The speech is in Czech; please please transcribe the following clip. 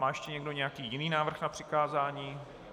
Má ještě někdo nějaký jiný návrh na přikázání?